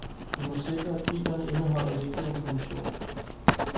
I må sikre, at filerne indeholder vigtig information.